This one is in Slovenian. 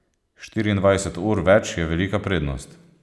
Štiriindvajset ur več je velika prednost.